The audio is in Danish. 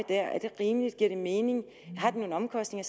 der er det rimeligt giver det mening har det nogle omkostninger